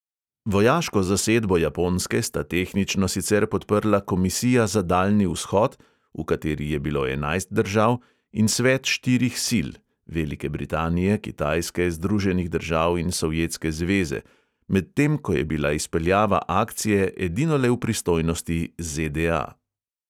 Vojaško zasedbo japonske sta tehnično sicer podprla komisija za daljni vzhod, v kateri je bilo enajst držav, in svet štirih sil (velike britanije, kitajske, združenih držav in sovjetske zveze), medtem ko je bila izpeljava akcije edinole v pristojnosti ZDA.